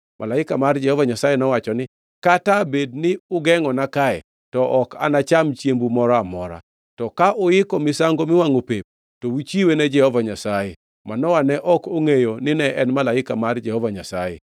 Malaika mar Jehova Nyasaye nowacho niya, “Kata bed ni ugengʼona kae, to ok anacham chiembu moro amora. To ka uiko misango miwangʼo pep, to uchiwe ne Jehova Nyasaye.” Manoa ne ok ongʼeyo nine en malaika mar Jehova Nyasaye.